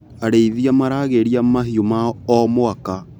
Arĩithia maragĩria mahiũ mao o mwaka.